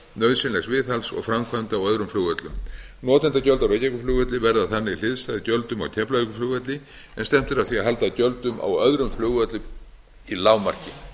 nauðsynlegs viðhalds og framkvæmda á öðrum flugvöllum notendagjöld á reykjavíkurflugvelli verða þannig hliðstæð gjöldum á keflavíkurflugvelli en stefnt er að því að halda gjöldum á öðrum flugvöllum í lágmarki